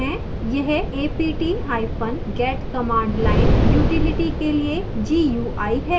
यह aptget command line utility के लिए gui है